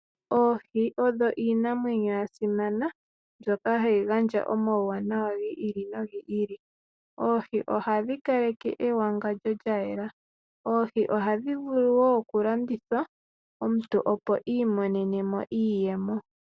Oohi odho iinamwenyo ya simana mbyoka hayi gandja omawuwanawa gi ili nogi ili. Oohi ohadhi kaleke ewangandjo lya yela. Oohi ohadhi vulu wo okulandithwa omuntu, opo iimonene mo iiyemo.